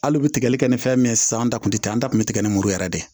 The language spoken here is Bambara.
Hali u bɛ tigɛli kɛ ni fɛn min ye sisan an ta tun tɛ an ta kun bɛ tigɛ ni muru yɛrɛ de